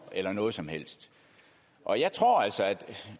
eller noget som helst og jeg tror